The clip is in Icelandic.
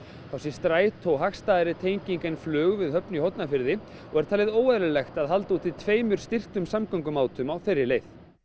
þá sé strætó hagstæðari tenging en flug við Höfn í Hornafirði og óeðlilegt að halda úti tveimur styrktum samgöngumátum á þeirri leið